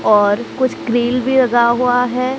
और कुछ क्रिल भी लगा हुआ है।